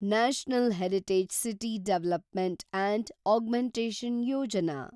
national heritage city development and augmentation Yojana